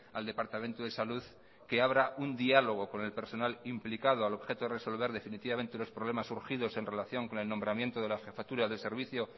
al departamento de salud que abra un diálogo con el personal implicado al objeto de resolver definitivamente los problemas surgidos en relación con el nombramiento de la jefatura del servicio